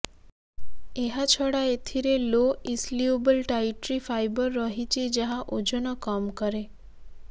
ଏହାଛଡା ଏଥିରେ low insoluble dietary fibre ରହିଛି ଯାହା ଓଜନ କମ୍ କରେ